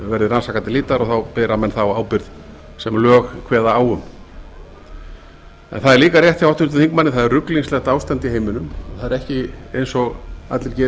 verði rannsakað til hlítar og þá bera menn þá ábyrgð sem lög kveða á um það er líka rétt hjá háttvirtum þingmanni að það er ruglingslegt ástand í heiminum það er ekki eins og allir geri